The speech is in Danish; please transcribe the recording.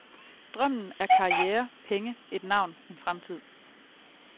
Drømmen er karriere, penge, et navn, en fremtid.